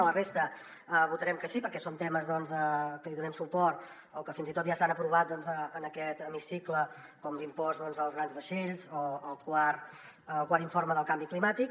a la resta votarem que sí perquè són temes que hi donem suport o que fins i tot ja s’han aprovat en aquest hemicicle com l’impost als grans vaixells o el quart informe del canvi climàtic